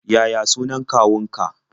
Yaya sunan kawunka?